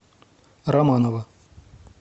романова